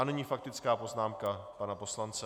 A nyní faktická poznámka pana poslance.